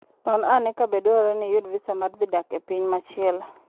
Non ane kabe dwarore ni iyud visa mar dhi dak e piny machielo.